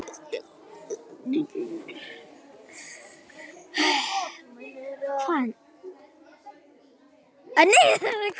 Þín dóttir, Ástrós.